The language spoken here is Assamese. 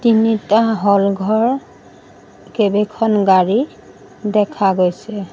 তিনিটা হল ঘৰ কেইবেখন গাড়ী দেখা গৈছে।